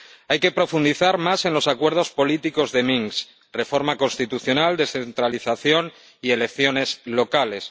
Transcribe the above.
Hay que profundizar más en los acuerdos políticos de Minsk reforma constitucional, descentralización y elecciones locales.